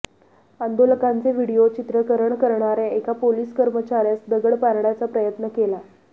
आंदोलकांचे video चित्रकरण करण्यार्या एका पोलीस कर्मचार्यास दगड मारण्याचा प्रयत्न केला